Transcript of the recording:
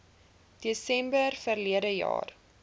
desember verlede jaar